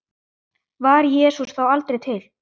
Var Jesús þá aldrei til?